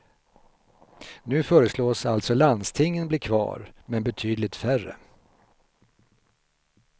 Nu föreslås alltså landstingen bli kvar men betydligt färre.